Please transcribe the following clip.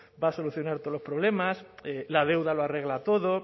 va a solucionar todos los problemas la deuda lo arregla todo